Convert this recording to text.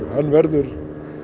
hann verður